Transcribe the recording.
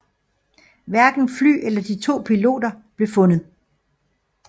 Hverken fly eller de to piloten blev fundet